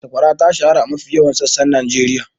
Sakwara ta shahara a mafi yawan sassan Najeriya.